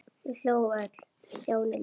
Þau hlógu öll- Stjáni líka.